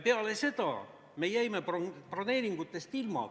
Peale seda me jäime broneeringutest ilma.